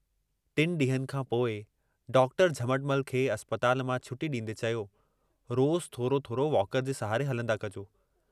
टिनि ॾींहंनि खां पोइ डॉक्टर झमटमल खे अस्पताल मां छुटी ॾींदे चयो रोज़ थोरो थोरो वॉकर जे सहारे हलंदा कजो।